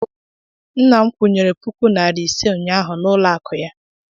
Nna m kwụnyere puku narị ise ụnyahụ n'ụlọ akụ ya.